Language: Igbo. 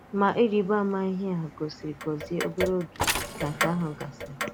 Mà rị̀bà àmà ihe e gòsìrì Gozie obere oge ka nke ahụ gasịrị.